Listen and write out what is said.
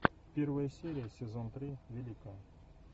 первая серия сезон три великая